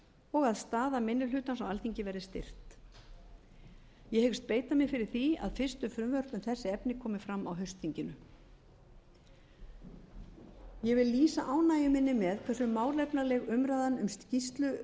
og að staða minni hlutans á alþingi verði styrkt ég hyggst beita mér fyrir því að fyrstu frumvörp um þessi efni komi fram á haustþinginu ég vil lýsa ánægju minni með hversu málefnaleg umræðan um skýrslu